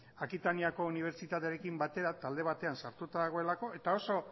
akitaniako unibertsitatearekin batera talde batean sartuta dagoelako eta oso